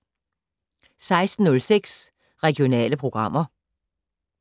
16:06: Regionale programmer